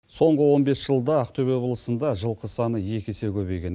соңғы он бес жылда ақтөбе облысында жылқы саны екі есе көбейген